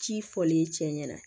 Ci fɔlen cɛ ɲɛna